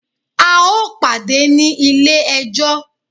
A o pàdé ní ilé ẹjọ́!